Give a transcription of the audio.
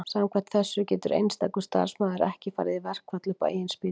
Samkvæmt þessu getur einstakur starfsmaður ekki farið í verkfall upp á eigin spýtur.